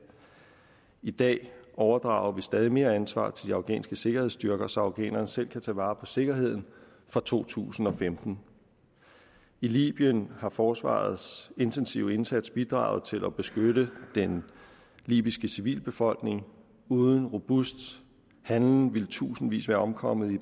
i dag overdrager vi stadig mere ansvar til de afghanske sikkerhedsstyrker så afghanerne selv kan tage vare på sikkerheden fra to tusind og femten i libyen har forsvarets intensive indsats bidraget til at beskytte den libyske civilbefolkning uden robust handling ville tusindvis være omkommet i